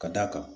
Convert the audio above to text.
Ka d'a kan